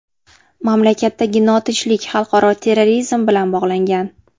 Mamlakatdagi notinchlik xalqaro terrorizm bilan bog‘langan.